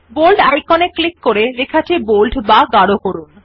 bold icon এ click করে লেখাটি বোল্ড বা গাড় করুন